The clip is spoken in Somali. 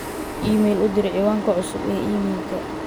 iimayl u dir ciwaanka cusub ee iimaylka